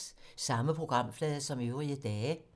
Samme programflade som øvrige dage